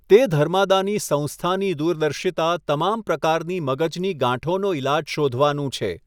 તે ધર્માદાની સંસ્થાની દૂરદર્શિતા તમામ પ્રકારની મગજની ગાંઠોનો ઈલાજ શોધવાનું છે.